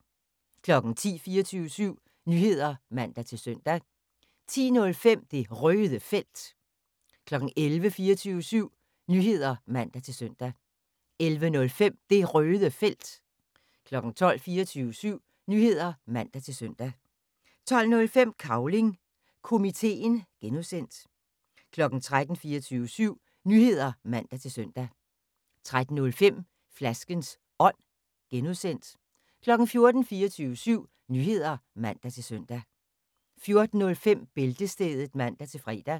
10:00: 24syv Nyheder (man-søn) 10:05: Det Røde Felt 11:00: 24syv Nyheder (man-søn) 11:05: Det Røde Felt 12:00: 24syv Nyheder (man-søn) 12:05: Cavling Komiteen (G) 13:00: 24syv Nyheder (man-søn) 13:05: Flaskens Ånd (G) 14:00: 24syv Nyheder (man-søn) 14:05: Bæltestedet (man-fre)